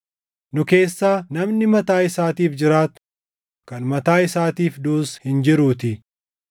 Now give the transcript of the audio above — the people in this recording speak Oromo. Nu keessaa namni mataa isaatiif jiraatu, kan mataa isaatiif duʼus hin jiruutii.